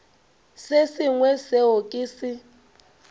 se sengwe seo ke se